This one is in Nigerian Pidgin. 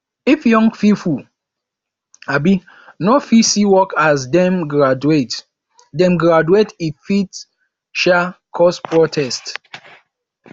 if young pipo um no fit see work as dem graduate dem graduate e fit um cause protest